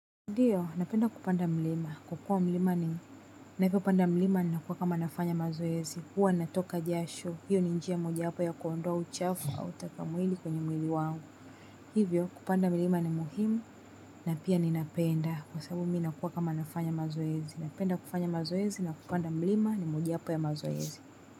Ndiyo, napenda kupanda mlima kwa kuwa mlima ni, ninapopanda mlima inakuwa kama ninafanya mazoezi huwa natoka jasho, hio ni njia moja ya kuondoa uchafu au taka mwili kwenye mwili wangu. Hivyo, kupanda mlima ni muhimu na pia ninapenda kwa sababu mimi nakuwa kama nafanya mazoezi. Napenda kufanya mazoezi na kupanda mlima ni moja hapa ya mazoezi.